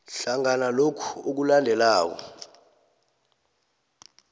hlangana lokhu okulandelako